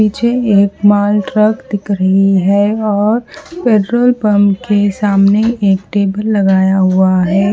पीछे एक माल ट्रक दिख रही है और पेट्रोल पंप के सामने एक टेबल लगाया हुआ है।